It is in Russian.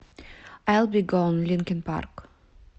айл би гон линкин парк